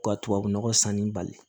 Ka tubabunɔgɔ sanni bali